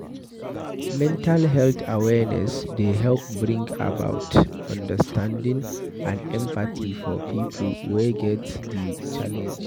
Mental health awareness dey help bring about understanding and empathy for pipo with wey get di challenge